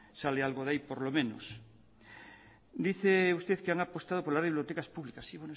sale algo de ahí por lo menos dice usted que han apostado por la red de bibliotecas públicas sí